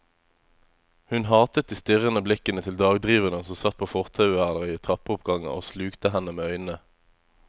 Hun hatet de strirrende blikkende til dagdriverne som satt på fortauer eller i trappeoppganger og slukte henne med øynene.